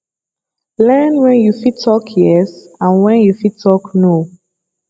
learn when you fit talk yes and when you fit talk no